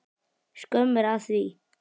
Skömm er að því.